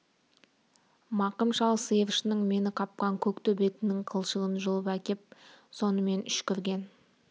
мақым шал сиыршының мені қапқан көк төбетінің қылшығын жұлып әкеп сонымен үшкірген